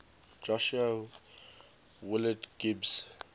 josiah willard gibbs